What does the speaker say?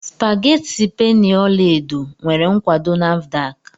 Spageti penny ọla edo nwere nkwado Nafdac?